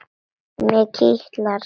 Mig kitlar.